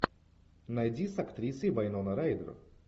найди с актрисой вайнона райдер